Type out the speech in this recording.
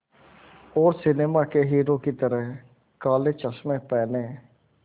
और सिनेमा के हीरो की तरह काले चश्मे पहने